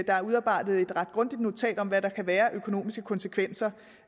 er udarbejdet et ret grundigt notat om hvad der kan være af økonomiske konsekvenser